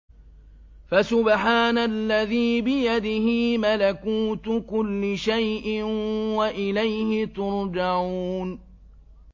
فَسُبْحَانَ الَّذِي بِيَدِهِ مَلَكُوتُ كُلِّ شَيْءٍ وَإِلَيْهِ تُرْجَعُونَ